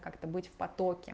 как-то быть в потоке